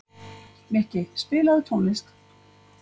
Mikki, spilaðu tónlist.